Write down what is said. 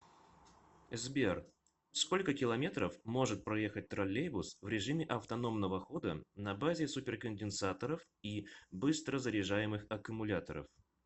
сбер сколько километров может проехать троллейбус в режиме автономного хода на базе суперконденсаторов и быстрозаряжаемых аккумуляторов